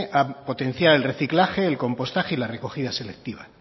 a potenciar el reciclaje el compostaje y la recogida selectiva